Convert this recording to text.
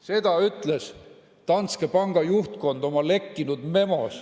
Seda ütles Danske Banki juhtkond oma lekkinud memos.